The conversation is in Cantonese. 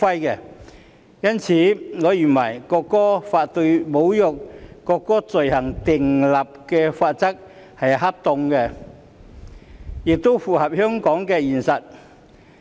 因此，我認為《條例草案》對侮辱國歌罪行訂立的罰則是恰當的，亦符合香港的現實。